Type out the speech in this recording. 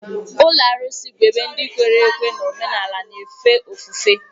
Ụlọ arụsị bụ ebe ndị kwere ekwe n'omenala na-efe ofufe.